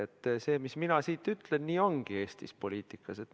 Te arvate, et see, mis mina siit ütlen, nii ongi Eesti poliitikas.